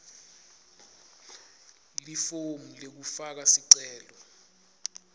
lifomu lekufaka sicelo